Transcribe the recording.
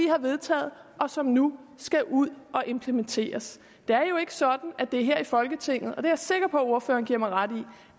har vedtaget og som nu skal ud og implementeres det er jo ikke sådan at det er her i folketinget og det er jeg sikker på at ordføreren giver mig ret i